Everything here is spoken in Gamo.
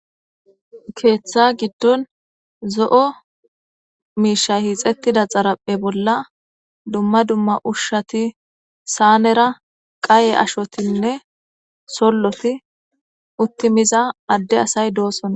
keeththa giddon zo7o miishay hiixettida xaraphe bolla dumma dumma ushshati saanera qaye ashotinne solloti uttimiza adde asay doossona